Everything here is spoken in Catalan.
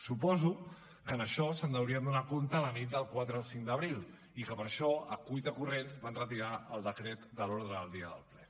suposo que d’això se’n deurien adonar la nit del quatre al cinc d’abril i que per això a cuitacorrents van retirar el decret de l’ordre del dia del ple